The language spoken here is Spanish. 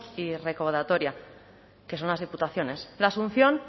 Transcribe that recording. y recaudatoria que son las diputaciones la asunción